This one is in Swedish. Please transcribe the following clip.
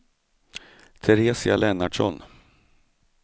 Teresia Lennartsson